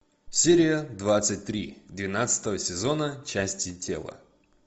серия двадцать три двенадцатого сезона части тела